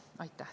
Aitäh!